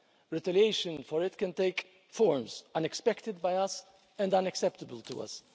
Retaliation for it can take forms unexpected by us, and unacceptable to us.